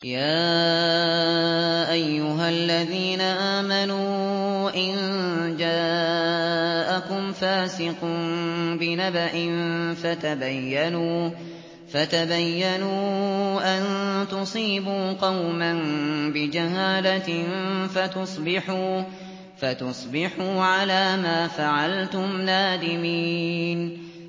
يَا أَيُّهَا الَّذِينَ آمَنُوا إِن جَاءَكُمْ فَاسِقٌ بِنَبَإٍ فَتَبَيَّنُوا أَن تُصِيبُوا قَوْمًا بِجَهَالَةٍ فَتُصْبِحُوا عَلَىٰ مَا فَعَلْتُمْ نَادِمِينَ